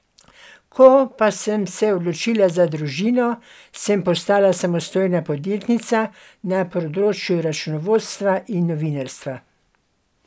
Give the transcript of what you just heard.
Ko pa sem se odločila za družino, sem postala samostojna podjetnica na področju računovodstva in novinarstva.